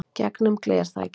Gegnum glerþakið.